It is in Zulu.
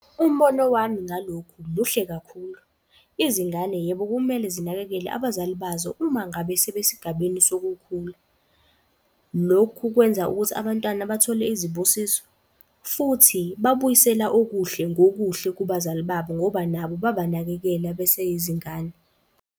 Umbono wami ngalokhu muhle kakhulu, izingane, yebo kumele zinakekele abazali bazo uma ngabe sebesigabeni sokukhula. Lokhu kwenza ukuthi abantwana bathole izibusiso, futhi babuyisela okuhle ngokuhle kubazali babo, ngoba nabo babanakekela beseyizingane.